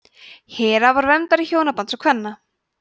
hera var verndari hjónabands og kvenna